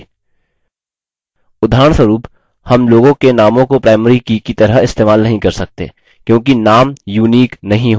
उदाहरणस्वरुप names लोगों के नामों को primary की की तरह इस्तेमाल नहीं कर सकते क्योंकि names unique अद्वितीय नहीं होते हैं